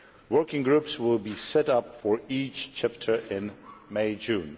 Working groups will be set up for each chapter in May June.